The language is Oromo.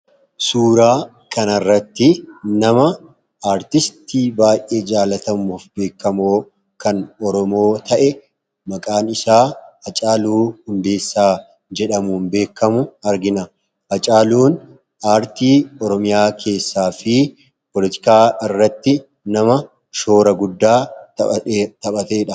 suuraa kana irratti nama aartistii baay'ee jaalatamuuf beekamoo kan oromoo ta'e maqaan isaa Acaaluu hundeessaa jedhamuun beekamu argina Acaaluun aartii oromiyaa keessaa fi poolitikaa irratti nama shoora guddaa taphateedha